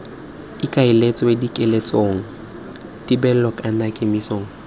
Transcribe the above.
ikaeletswe kiletsong thibelong kana kemisong